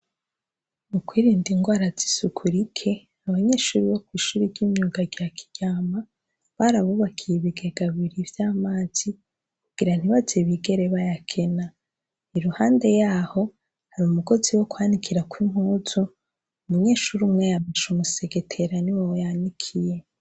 Mu kwirinda ingwara z'isuku rike abanyeshuri bo kw'ishure ry'imyuga rya kiryama barabubakiye ibigega bibiri vy'amazi kugira ntibazigere bayakena, i ruhande yaho har'umugozi wo kwanikirako impuzu umunyeshuri umwe yameshe umusegetera niho yawanikiye.